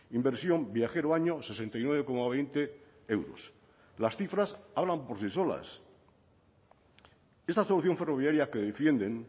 inversión viajero año sesenta y nueve coma veinte euros las cifras hablan por sí solas esta solución ferroviaria que defienden